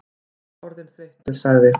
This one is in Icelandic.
Ég er orðinn þreyttur sagði